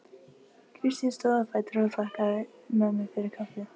Kristín stóð á fætur og þakkaði mömmu fyrir kaffið.